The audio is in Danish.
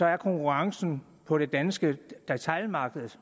er konkurrencen på det danske detailmarked